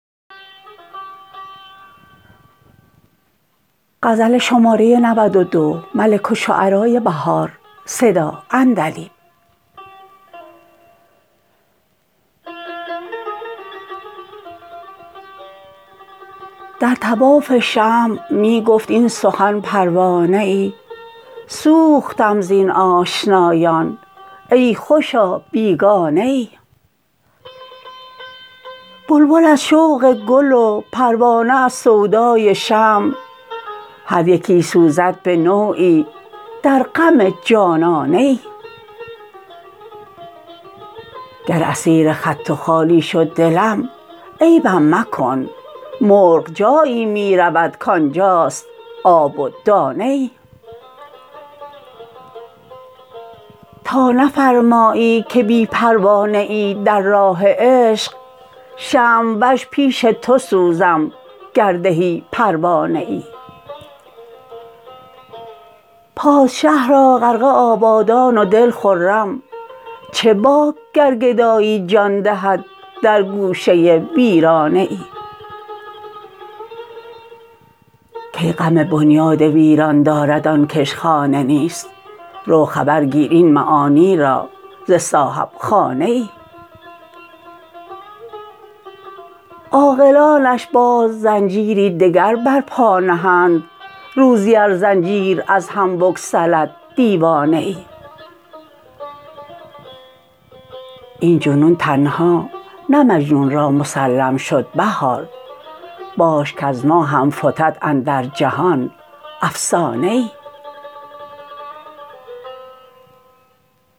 در طواف شمع می گفت این سخن پروانه ای سوختم زین آشنایان ای خوشا بیگانه ای بلبل از شوق گل و پروانه از سودای شمع هریکی سوزد به نوعی در غم جانانه ای گر اسیرخط و خالی شد دلم عیبم مکن مرغ جایی می رود کانجاست آب و دانه ای تا نفرمایی که بی پروا نه ای در راه عشق شمع وش پیش تو سوزم گر دهی پروانه ای پادشه را غرفه آبادان و دل خرم چه باک گر گدایی جان دهد درگوشه ویرانه ای کی غم بنیاد ویران دارد آن کش خانه نیست رو خبر گیر این معانی را ز صاحب خانه ای عاقلانش باز زنجیری دگر بر پا نهند روزی ار زنجیر از هم بگسلد دیوانه ای این جنون تنها نه مجنون را مسلم شد بهار باش کز ما هم فتد اندر جهان افسانه ای